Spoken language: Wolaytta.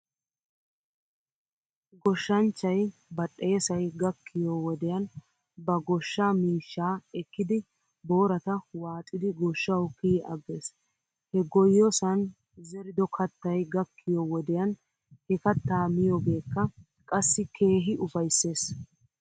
Goshshanchchay badhdheessay gakkiyoo wodiyan ba goshshaa miishshaa ekkidi boorata waaxxidi goshshaw kiyi agges. He goyosan zerido kattay gakkiyoo wodiyan he kattaa miyoogeekka qassi keehi ufaysses.